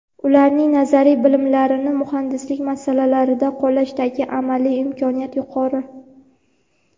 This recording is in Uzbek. Ularning nazariy bilimlarni muhandislik masalalarida qo‘llashdagi amaliy imkoniyati yuqori.